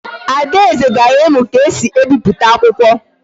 Adaeze gara imu ka esi e biputa akwukwo